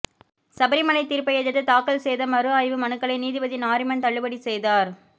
சபரிமலை தீர்ப்பை எதிர்த்து தாக்கல் செய்த மறு ஆய்வு மனுக்களை நீதிபதி நாரிமன் தள்ளுபடி செய்தார்